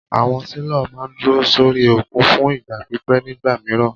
Àwọn sailor máà ń dúró sórí òkun fún ìgbà pípẹ́ nígbà mìíràn.